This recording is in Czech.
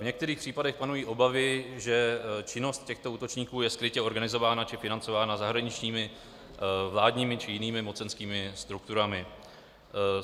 V některých případech panují obavy, že činnost těchto útočníků je skrytě organizována či financována zahraničními vládními či jinými mocenskými strukturami.